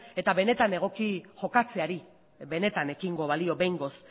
eta benetan egoki jokatzeari benetan ekingo balio behingoz